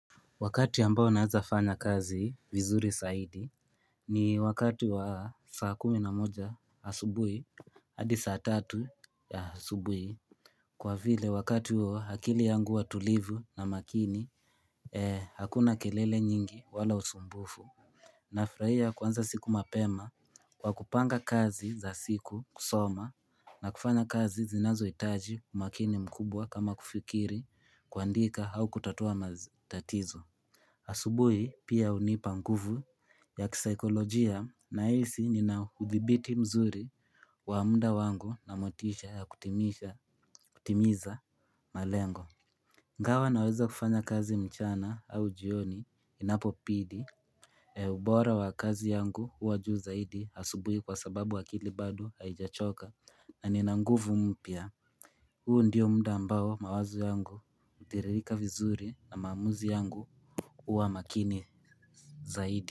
Wakati ambao naeza fanya kazi vizuri zaidi ni wakati wa saa kumi na moja asubuhi hadi saa tatu ya asubuhi. Kwa vile wakati huo, akili yangu huwa tulivu na makini hakuna kelele nyingi wala usumbufu Nafuraia kuanza siku mapema kwa kupanga kazi za siku, kusoma na kufanya kazi zinazohitaji umakini mkubwa kama kufikiri, kuandika au kutatua matatizo asubuhi pia hunipa nguvu ya kisaikolojia nahisi nina udhibiti mzuri wa muda wangu na motisha ya kutimiza malengo Ingawa naweza kufanya kazi mchana au jioni inapobidi, ubora wa kazi yangu huwa juu zaidi asubuhi kwa sababu akili bado haijachoka na nina nguvu mpya huu ndiyo muda ambao mawazo yangu hutiririka vizuri na maamuzi yangu huwa makini zaidi.